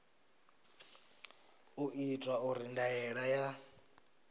u itwa uri ndaela ya